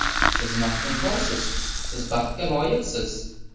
Siz maftunkorsiz, siz baxtga loyiqsiz!